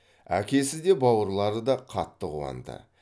әкесі де бауырлары да қатты қуанды